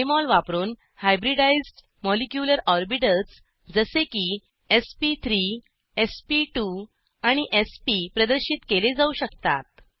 Jmol वापरून hybridized molecular orbitals जसे की एसपी3 एसपी2 आणि एसपी प्रदर्शित केले जाऊ शकतात